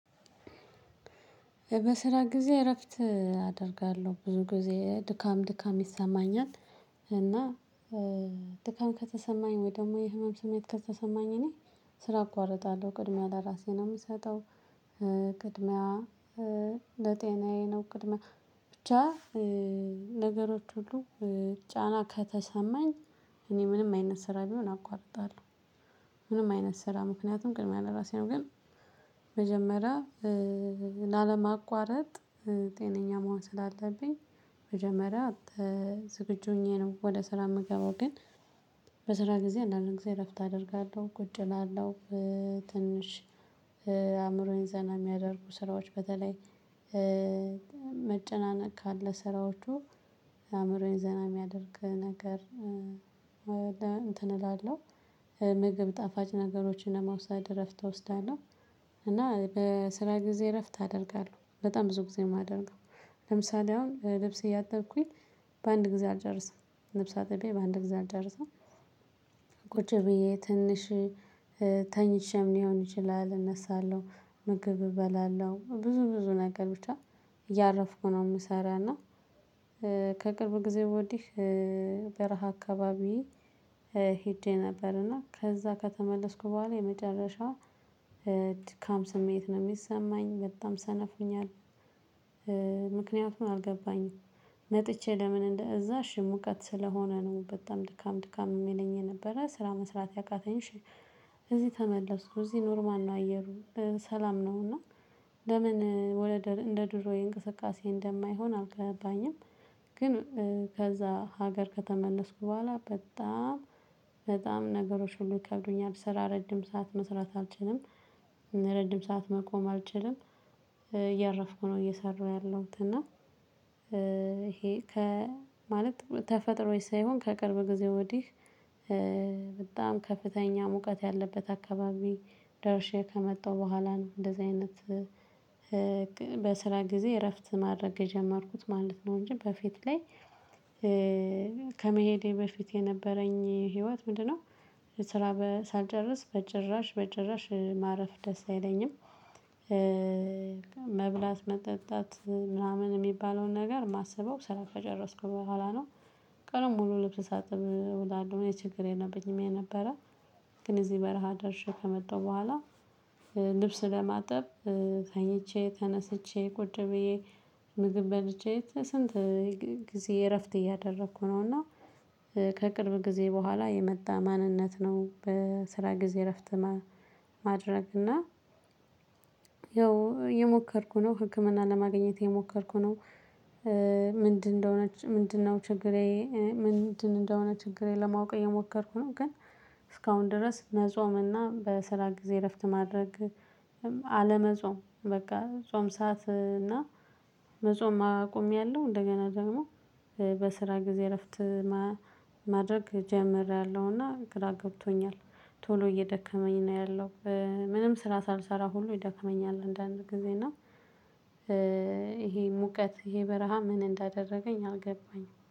በስራ ጊዜ እረፍት አደርጋለሁ ብዙ ጊዜ ድካም ድካም ይሰማኛል። እና ድካም ከተሰማኝ ወይ ደግሞ የህመም ስሜት ከተሰማኝ እኔ ስራ አቋርጣለሁ ቅድሚያ ለራሴ ነው የምሰጠው። ቅድሚያ ለጤናዬ ነው ቅድሚያ ብቻ ነገሮች ሁሉ ጫና ከተሰማኝ እኔ ምንም አይነት ስራ ቢሆን አቋርጣለሁ። ምንም አይነት ስራ ምክንያቱም ቅድሚያ ለራሴ ነው። ግን መጀመሪያ ላለማቋረጥ ጤነኛ መሆን ስላለብኝ መጀመሪያ ዝግጁ ሆኜ ነው ወደ ስራ የምገባው። ግን በስራ ጊዜ አንዳንድ ጊዜ እረፍት አደርጋለሁ ቁጭ እላለሁ። ትንሽ አእምሮዬን ዘና የሚያደርጉ ስራዎች በተለይ መጨናነቅ ካለ ስራዎቹ የአእምሮዬን ዘና የሚያደርግ ነገር እንትን እላለሁ። ምግብ ጣፋጭ ነገሮችን ለመውሰድ እረፍት እወስዳለው። እና በስራ ጊዜ እረፍት አደርጋለሁ በጣም ብዙ ጊዜ የማደርገው። ለምሳሌ አሁን ልብስ እያጠብኩኝ በአንድ ጊዜ አልጨርስም ልብስ አጥቤ በአንድ ጊዜ አልጨርስም። ቁጭ ብዬ ትንሽ ተኝቼም ሊሆን ይችላል እነሳለሁ ምግብ እበላለሁ ብዙ ብዙ ነገሮች እያረፍኩ ነው የምሰራው። እና ከቅርብ ጊዜ ወዲህ በረሃ አካባቢ ሄጄ ነበር እና ከዛ ከተመለስኩ በኋላ የመጨረሻ ድካም ስሜት ነው የሚሰማኝ በጣም ሰነፍ ሆኛል። ምክንያቱን አልገባኝም። መጥቼ ለምን እንደ እዛ እሽ ሙቀት ስለሆነ ነው በጣም ድካም ድካም የሚለኝ የነበረ ስራ መስራት ያቃተኝሽ? እዚህ ተመለስኩ እዚህ ኖርማል ነው አየሩ ሰላም ነው። እና ለምን ወደ እንደ ድሮ የእንቅስቃሴ እንደማይሆን አልገባኝም። ግን ከዛ ሀገር ከተመለስኩ በኋላ በጣም በጣም ነገሮች ሁሉ ይከብዱኛል ስራ ረጅም ሰዓት መስራት አልችልም። ረጅም ሰዓት መቆም አልችልም። እያረፍኩ ነው እየሰሩ ያለሁት እና ይሄ። ከ ማለት ተፈጥሮዬ ሳይሆን ከቅርብ ጊዜ ወዲህ። በጣም ከፍተኛ ሙቀት ያለበት አካባቢ ደርሼ ከመጣሁ በኋላ እንደዚህ አይነት በስራ ጊዜ እረፍት ማድረግ ጀመርኩት ማለት ነው። እንጂ በፊት ላይ ከመሄዴ በፊት የነበረኝ ህይወት ምንድነው? ስራ ሳልጨርስ በጭራሽ በጭራሽ ማረፍ ደስ አይለኝም። መብላት መጠጣት ምናምን የሚባለውን ነገር ማሰበው ስራ ከጨረስኩ በኋላ ነው። ቀኑን ሙሉ ልብስ ሳጥብ እዉላለው የችግር የለብኝም የነበረ። ግን እዚህ በረሃ ደርሼ ከመጣሁ በኋላ ልብስ ለማጠብ ተኝቼ ተነስቼ ቁጭ ብዬ ምግብ በልቼ ስንት ጊዜ እረፍት እያደረኩ ነውና። ከቅርብ ጊዜ በኋላ የመጣ ማንነት ነው በስራ ጊዜ እረፍት ማድረግ እና ያው የሞከርኩ ነው ህክምናን ለማግኘት የሞከርኩ ነው። ምንድነው ነች ምንድነው ችግሬ? ምንድን እንደሆነ ችግር ለማወቅ እየሞከርኩ ነው። ግን እስካሁን ድረስ መጾምና በስራ ጊዜ እረፍት ማድረግ አለመጾም በቃ ጾም ሰዓት እና መጾም አቆሚያለሁ እንደገና ደግሞ በስራ ጊዜ እረፍት ማድረግ ጀምሬያለሁና ግራ ገብቶኛል። ቶሎ እየደከመኝ ነው ያለው። ምንም ስራ ሳልሰራ ሁሉ ይደክመኛል አንዳንድ ጊዜ እና ይሄ ሙቀት ይሄ በረሃ ምን እንዳደረገኝ አልገባኝም